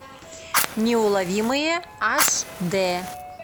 неуловимые аш д